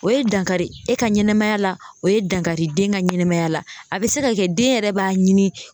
O ye dankari e ka ɲɛnamaya la o ye dankari den ka ɲɛnɛmaya la a bɛ se ka kɛ den yɛrɛ b'a ɲini.